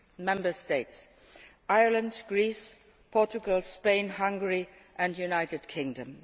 at six Member States Ireland, Greece, Portugal, Spain, Hungary and the United Kingdom.